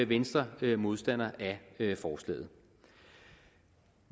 venstre modstander af forslaget